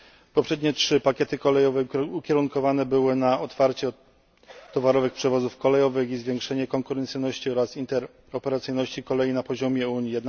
Poprzednie trzy pakiety kolejowe ukierunkowane były na otwarcie towarowych przewozów kolejowych i zwiększenie konkurencyjności oraz interoperacyjności kolei na poziomie Unii.